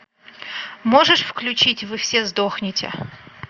можешь включить вы все сдохнете